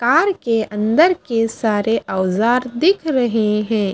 Car के अंदर के सारे औजार दिख रहे हैं।